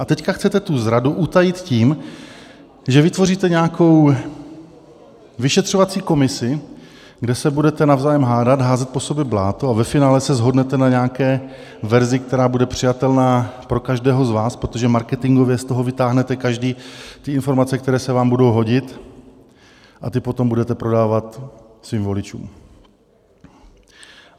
A teď chcete tu zradu utajit tím, že vytvoříte nějakou vyšetřovací komisi, kde se budete navzájem hádat, házet po sobě bláto, a ve finále se shodnete na nějaké verzi, která bude přijatelná pro každého z vás, protože marketingově z toho vytáhnete každý ty informace, které se vám budou hodit, a ty potom budete prodávat svým voličům.